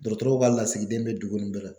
Dɔgɔtɔrɔw ka lasigiden bɛ dugu ninnu bɛɛ la